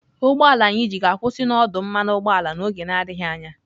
Ụgbọ ala anyị ji ga-akwụsị n'ọdụ mmanụ ụgbọala n'oge na-adịghị anya.